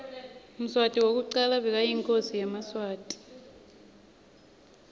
mswati wekucala bekayinkhosi yemaswati